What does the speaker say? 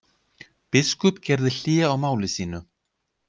Biskup gerði hlé á máli sínu.